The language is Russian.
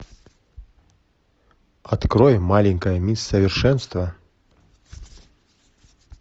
открой маленькая мисс совершенство